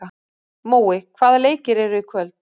Mói, hvaða leikir eru í kvöld?